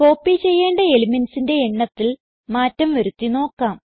copy ചെയ്യേണ്ട elementsന്റെ എണ്ണത്തിൽ മാറ്റം വരുത്തി നോക്കാം